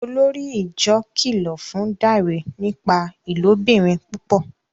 Olórí ìjọ kìlọ fún Dare nípa ilobìrin púpọ